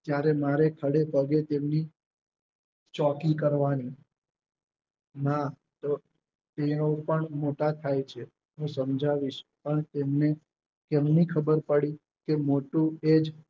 જયારે મારે ખડે પગે તેમની ચોકી કરવાની મારો ચેહરો પણ મોટશ થાય છે હું સમજાવીશ પણ તેમને કેમની ખબર પડી કે મોટુએ જ